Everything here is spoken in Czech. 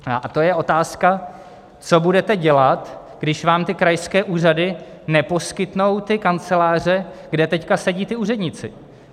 A to je otázka, co budete dělat, když vám ty krajské úřady neposkytnou ty kanceláře, kde teď sedí ti úředníci.